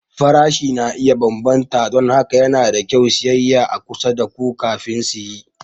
Farashi na iya bambanta don haka yana da kyau siyayya a kusa da ku kafin siye.